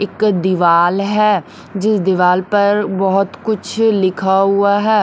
एक दीवाल है जिस दीवाल पर बहोत कुछ लिखा हुआ है।